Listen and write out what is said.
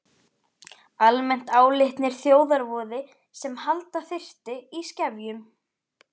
Almennt álitnir þjóðarvoði sem halda þyrfti í skefjum.